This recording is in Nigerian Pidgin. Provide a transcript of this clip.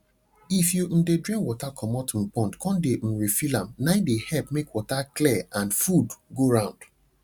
if you um de drain water comot um pond con de um refill am nai de help make water clear and food go round